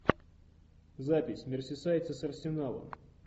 запись мерсисайдцы с арсеналом